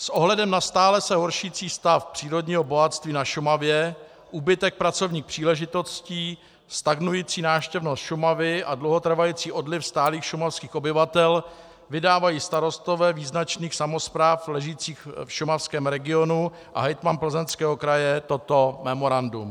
S ohledem na stále se horšící stav přírodního bohatství na Šumavě, úbytek pracovních příležitostí, stagnující návštěvnost Šumavy a dlouhotrvající odliv stálých šumavských obyvatel vydávají starostové význačných samospráv ležících v šumavském regionu a hejtman Plzeňského kraje toto memorandum: